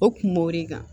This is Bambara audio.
O kun b'o de kan